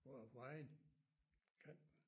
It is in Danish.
Vejen kanten